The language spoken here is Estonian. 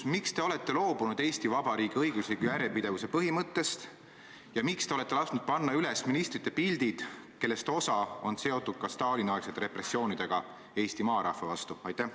Miks te olete loobunud Eesti Vabariigi õigusliku järjepidevuse põhimõttest ja miks te olete lasknud panna üles nende ministrite pildid, kellest osa oli seotud ka Stalini-aegsete repressioonidega Eesti maarahva vastu?